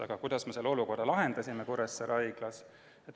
Aga kuidas me selle olukorra siis Kuressaare Haiglas lahendasime?